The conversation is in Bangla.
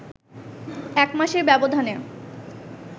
এক মাসের ব্যবধানে